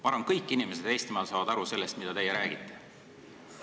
Ma arvan, et kõik inimesed Eestimaal saavad aru sellest, mida teie räägite.